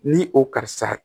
Ni o karisa